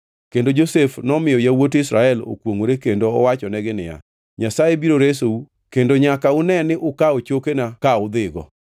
Kendo Josef nomiyo yawuot Israel okwongʼore kendo owachonegi niya, “Nyasaye biro resou, kendo nyaka une ni ukawo chokena ka udhigo.”